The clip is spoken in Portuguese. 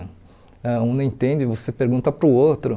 Ãh um não entende, você pergunta para o outro.